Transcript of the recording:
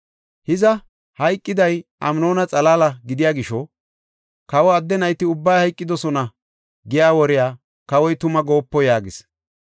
Hiza hayqiday Amnoona xalaala gidiya gisho, ‘Kawa adde nayti ubbay hayqidosona’ giya woriya kawoy tuma goopo” yaagis.